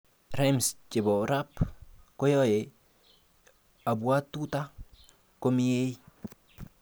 rhymes chepo rap koyaya apuatuta komiei